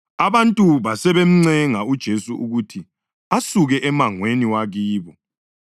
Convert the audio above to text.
Abantu basebemncenga uJesu ukuthi asuke emangweni wakibo.